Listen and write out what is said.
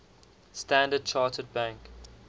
standard chartered bank